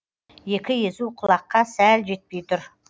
екі езу құлаққа сәл жетпей тұр